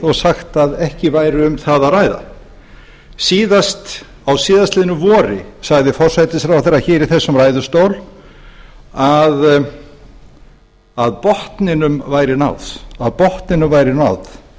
og sagt eindregið að ekki væri um það að ræða síðast á síðastliðnu vori sagði forsætisráðherra hér í þessum ræðustól að botninum væri náð